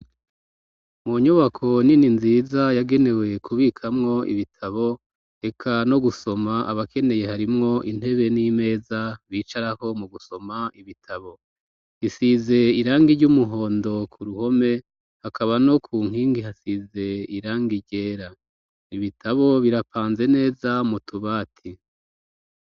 Mu nyubako nini nziza yagenewe kubikamwo ibitabo, eka no gusoma abakeneye harimwo intebe n'imeza bicarahk mu gusoma ibitabo. Iisize irangi ry'umuhondo ku ruhome hakaba no ku nkingi hasize irangi ryera ibitabo birapanze neza mu tubati.